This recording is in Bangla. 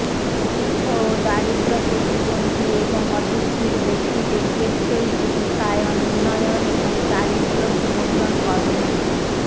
দুস্থ ও দারিদ্র প্রতিবন্ধী এবং অটিষ্টিক ব্যক্তিদের টেকসই জীবিকায়ন উন্নয়ন এবং দারিদ্র বিমোচন কর্মসূচি